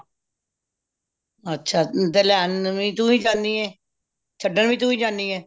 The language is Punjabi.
ਅੱਛਾ ਤੇ ਲੈਣ ਵੀ ਤੁਹੀ ਜਾਂਦੀ ਏ ਛੱਡਣ ਵੀ ਤੁਹੀ ਜਾਂਦੀ ਏ